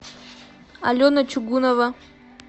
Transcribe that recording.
алена чугунова